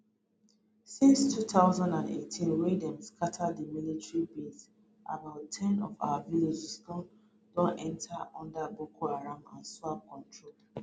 since 2018 wey dem scata di military base about ten of our villages don don fall under boko haram and iswap control